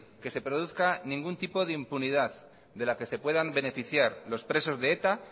que se produzca ningún tipo de impunidad de la que se puedan beneficiar los presos de eta